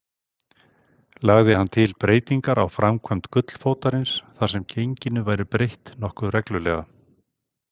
Lagði hann til breytingar á framkvæmd gullfótarins, þar sem genginu væri breytt nokkuð reglulega.